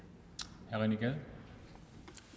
ville